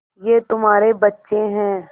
ये तुम्हारे बच्चे हैं